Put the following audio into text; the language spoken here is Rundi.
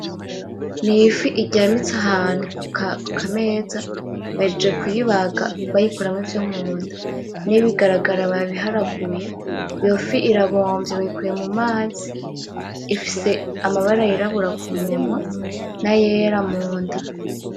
N'ifi iryamitse ahantu kukameza bahejeje kuyibaga bayikuramwo ivyo munda, n'ibigaragara babiharaguye iyo fi irabomvye bayikuye mumazi ifise amabara y'irabura kumunwa nayera munda.